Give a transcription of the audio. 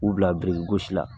U bila biriki gosi la.